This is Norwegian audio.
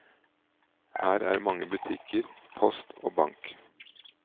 Her er mange butikker, post og bank.